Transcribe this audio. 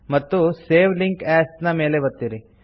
ಮತ್ತು save link as ಮೇಲೆ ಒತ್ತಿರಿ